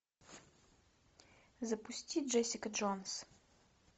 запусти джессика джонс